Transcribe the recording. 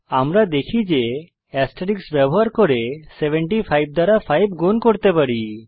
আমরা দেখি যে এস্টেরিস্ক ব্যবহার করে 75 দ্বারা 5 গুন করতে পাই